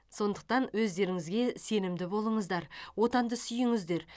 сондықтан өздеріңізге сенімді болыңыздар отанды сүйіңіздер